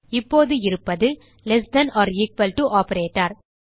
இப்போது இருப்பது less than or equal to operator